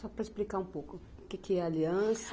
Só para explicar um pouco, o que que é Aliança?